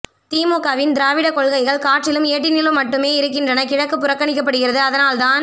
திமுகவின் திராவிட கொள்கைகள் காற்றிலும் ஏட்டினிலும் மட்டுமே இருக்கின்றன கிழக்கு புறக்கணிக்கபடுகிறது அதனால் தான்